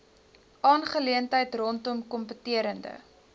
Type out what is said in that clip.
aangeleentheid rondom kompeterende